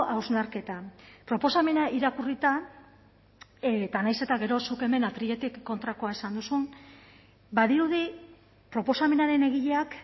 hausnarketa proposamena irakurrita eta nahiz eta gero zuk hemen atriletik kontrakoa esan duzun badirudi proposamenaren egileak